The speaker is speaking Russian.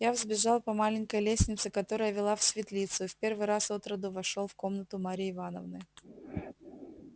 я взбежал по маленькой лестнице которая вела в светлицу и в первый раз отроду вошёл в комнату марьи ивановны